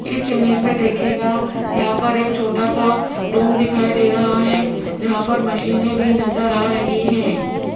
इस इमेज में देखिएगा यहां पर एक छोटा सा रूम दिखाई दे रहा है जहां पर मशीने भी नजर आ रही है।